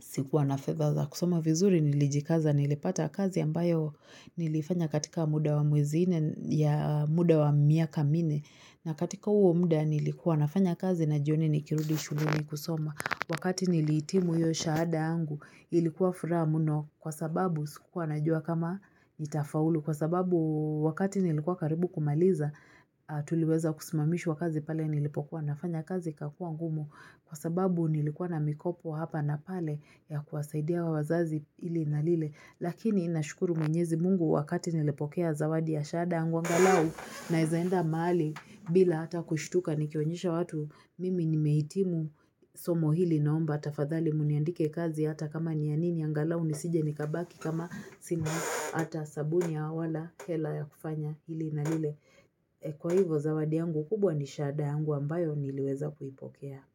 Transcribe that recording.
sikuwa na fedha za kusoma vizuri nilijikaza nilipata kazi ambayo nilifanya katika muda wa mwezi nne ya muda wa miaka minne. Na katika huo muda nilikuwa nafanya kazi na jioni nikirudi shuleni kusoma. Wakati nilihitimu hiyo shahada yangu ilikuwa furaha muno kwa sababu sikuwa najua kama nitafaulu. Kwa sababu wakati nilikuwa karibu kumaliza tuliweza kusimamishwa kazi pale nilipokuwa nafanya kazi ikakua ngumu. Kwa sababu nilikuwa na mikopo hapa na pale ya kuwasaidia wao wazazi ili na lile. Lakini nashukuru mwenyezi mungu wakati nilepokea zawadi ya shahada yangu angalau naezaenda maali bila hata kushituka nikionyesha watu mimi nimehitimu somo hili naomba tafadhali muniandike kazi hata kama nianini angalau nisije nikabaki kama sina hata sabuni wala hela ya kufanya hili na lile. Kwa hivo zawadi yangu kubwa ni shahada yangu ambayo niliweza kuipokea.